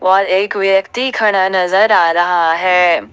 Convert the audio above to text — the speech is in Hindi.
और एक व्यक्ति खड़ा नजर आ रहा है।